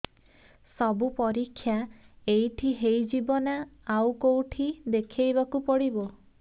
ସବୁ ପରୀକ୍ଷା ଏଇଠି ହେଇଯିବ ନା ଆଉ କଉଠି ଦେଖେଇ ବାକୁ ପଡ଼ିବ